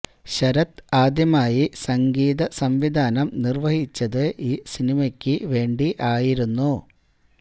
ശരത് ആദ്യമായി സംഗീത സംവിധാനം നിർവഹിച്ചത് ഈ സിനിമയ്ക്ക് വേണ്ടി ആയിരുന്നു